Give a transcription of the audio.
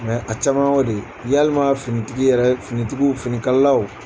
a caman o de yalima fini tigi yɛrɛ fini tigiw fini kalalaw